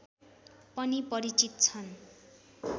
पनि परिचित छन्